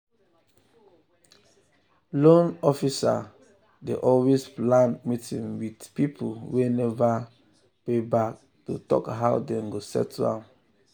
loan officer dey um always plan meeting with um people wey never um pay back to talk how dem go settle am.